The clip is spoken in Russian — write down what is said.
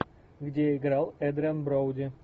где играл эдриан броуди